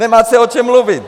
Nemáte, o čem mluvit!